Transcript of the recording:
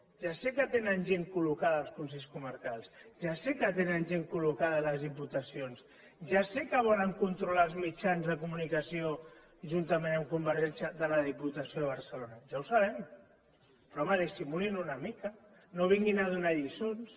ja sé que tenen gent col·locada als consells comarcals ja sé que tenen gent col·locada a les diputacions ja sé que volen controlar els mitjans de comunicació juntament amb convergència de la diputació de barcelona ja ho sabem però home dissimulin una mica no vinguin a donar lliçons